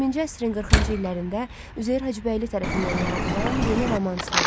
20-ci əsrin 40-cı illərində Üzeyir Hacıbəyli tərəfindən yaradılan yeni romans növü.